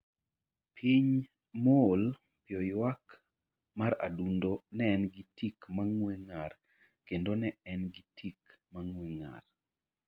Chuny Mool Piyo Ywak mar adundo Ne en gi tik mang'we ng'ar kendo ne en gi tik mang'we ng'ar.